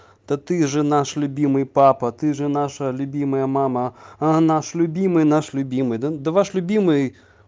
да ты же наш любимый папа ты же наша любимая мама а наш любимый наш любимый да-да ваш любимый